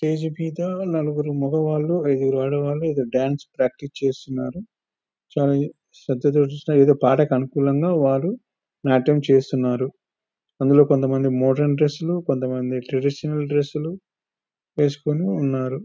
Stage మీద నలుగురు మగవాళ్ళు ఐదుగురు ఆడవాళ్లు డాన్స్ ప్రాక్టీస్ చేస్తున్నారు చాలా శ్రద్ధతోటి ఆ పాటకు అనుగుణంగా వారు నాట్యం చేస్తున్నారు కొంతమంది మోడల్ డ్రెస్సులు కొంతమంది ట్రెడిషనల్ డ్రెస్సులు వేసుకొని ఉన్నారు.